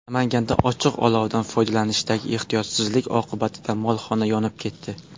Namanganda ochiq olovdan foydalanishdagi ehtiyotsizlik oqibatida molxona yonib ketdi.